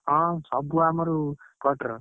ହଁ, ସବୁ ଆମରି cutter